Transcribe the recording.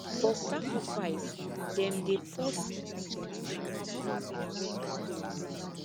for sacrifice them dey pour small small animal blood for holy stone